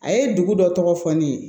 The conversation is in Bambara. A ye dugu dɔ tɔgɔ fɔ ne ye